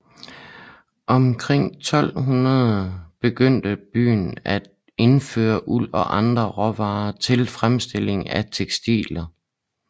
Omkring år 1200 begyndte byen at indføre uld og andre råvarer til fremstilling af tekstiler